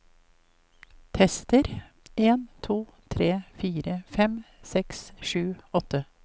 Tester en to tre fire fem seks sju åtte